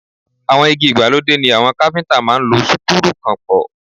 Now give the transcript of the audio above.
Àwọn igi ìgbàlódé ni àwọn káfíntà máa ń lo súkúrù kàn pọ̀.